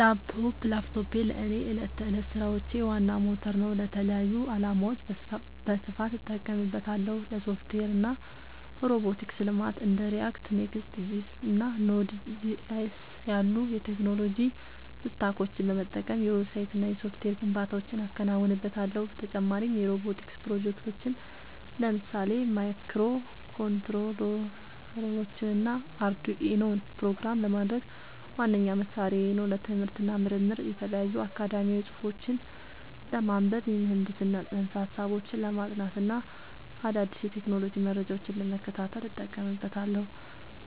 ላፕቶፕ ላፕቶፔ ለእኔ የዕለት ተዕለት ሥራዎቼ ዋና ሞተር ነው። ለተለያዩ ዓላማዎች በስፋት እጠቀምበታለሁ - ለሶፍትዌር እና ሮቦቲክስ ልማት እንደ React፣ Next.js እና Node.js ያሉ የቴክኖሎጂ ስታኮችን በመጠቀም የዌብሳይትና የሶፍትዌር ግንባታዎችን አከናውንበታለሁ። በተጨማሪም የሮቦቲክስ ፕሮጀክቶችን (ለምሳሌ ማይክሮኮንትሮለሮችንና አርዱኢኖን) ፕሮግራም ለማድረግ ዋነኛ መሣሪያዬ ነው። ለትምህርት እና ምርምር የተለያዩ አካዳሚያዊ ጽሑፎችን ለማንበብ፣ የምህንድስና ፅንሰ-ሀሳቦችን ለማጥናት እና አዳዲስ የቴክኖሎጂ መረጃዎችን ለመከታተል እጠቀምበታለሁ።